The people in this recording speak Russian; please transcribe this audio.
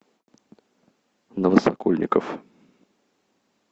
новосокольников